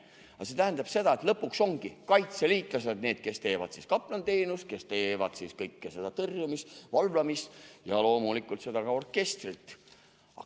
Aga see tähendab seda, et lõpuks ongi kaitseliitlased need, kes pakuvad kaplaniteenust, kes tõrjuvad, valvavad ja loomulikult teevad ka seda orkestrit.